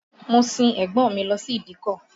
Mo sin ẹ̀gbọ́n mi lọ sí ìdíkọ̀